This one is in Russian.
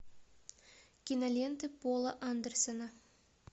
киноленты пола андерсона